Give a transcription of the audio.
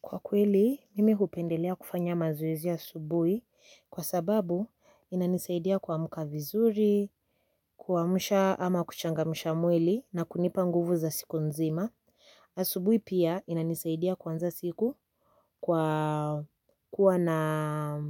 Kwa kweli, mimi kupendelea kufanya mazoezi ya asubuhi kwa sababu inanisaidia kuamka vizuri, kuamsha ama kuchangamsha mwili na kunipa nguvu za siku nzima. Asubuhi pia inanisaidia kuanza siku kwa kuwa na